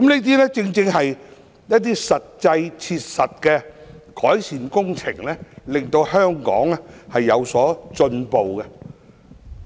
凡此種種，皆是切實的改善工程，讓香港進步。